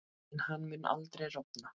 En hann mun aldrei rofna.